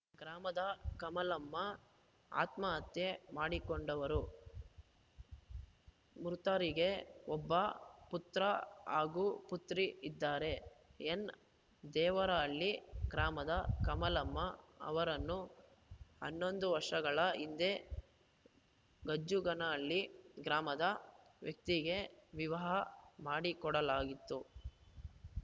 ಗ್ರಾಮದ ಕಮಲಮ್ಮಆತ್ಮಹತ್ಯೆ ಮಾಡಿಕೊಂಡವರು ಮೃತರಿಗೆ ಒಬ್ಬ ಪುತ್ರ ಹಾಗೂ ಪುತ್ರಿ ಇದ್ದಾರೆ ಎನ್‌ದೇವರಹಳ್ಳಿ ಗ್ರಾಮದ ಕಮಲಮ್ಮ ಅವರನ್ನು ಹನ್ನೊಂದು ವರ್ಷಗಳ ಹಿಂದೆ ಗಜ್ಜುಗಾನಹಳ್ಳಿ ಗ್ರಾಮದ ವ್ಯಕ್ತಿಗೆ ವಿವಹ ಮಾಡಿಕೊಡಲಾಗಿತ್ತು